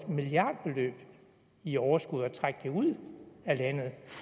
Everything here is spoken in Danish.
milliardbeløb i overskud årligt og trække det ud af landet